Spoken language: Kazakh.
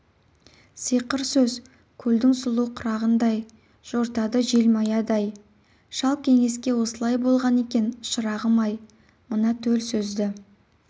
сиқыр сөз көлдің сұлу құрағындай жортады желмаядай шал кеңеске осылай болған екен шырағым-ай мына төл сөзді